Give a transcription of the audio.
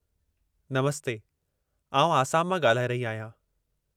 नमस्ते! आउं आसाम मां ॻाल्हाए रही आहियां।